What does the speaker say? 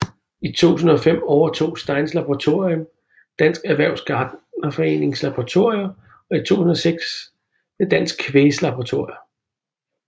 I 2005 overtog Steins Laboratorium Dansk Erhvervs Gartnerforenings Laboratorier og i 2006 Dansk Kvægs laboratorier